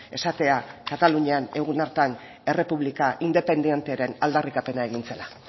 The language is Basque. esatea katalunian egun hartan errepublika independentearen aldarrikapena egin zela